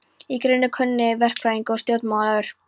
Í grein, er hinn kunni verkfræðingur og stjórnmálamaður